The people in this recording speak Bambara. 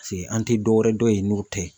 Paseke an tɛ dɔwɛrɛ dɔn yen n'o tɛ.